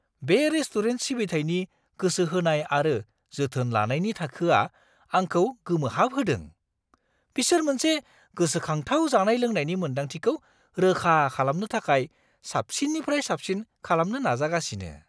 बे रेस्टुरेन्ट सिबिथायनि गोसो होनाय आरो जोथोन लानायनि थाखोआ आंखौ गोमोहाबहोदों; बिसोर मोनसे गोसोखांथाव जानाय-लोंनायनि मोन्दांथिखौ रोखा खालामनो थाखाय साबसिननिफ्राय साबसिन खालामनो नाजागासिनो!